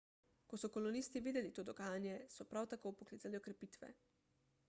ko so kolonisti videli to dogajanje so prav tako poklicali okrepitve